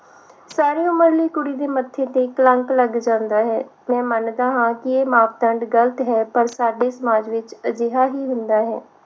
ਸਾਰੀ ਉਮਰ ਲਈ ਕੁੜੀ ਦੇ ਮੱਥੇ ਤੇ ਕਲੰਕ ਲੱਗ ਜਾਂਦਾ ਹੈ ਮੈਂ ਮੰਨਦਾ ਹਾਂ ਕਿ ਇਹ ਮਾਪਦੰਡ ਗਲਤ ਹੈ ਪਰ ਸਾਡੇ ਸਮਾਜ ਵਿਚ ਅਜਿਹਾ ਹੀ ਹੁੰਦਾ ਹੈ l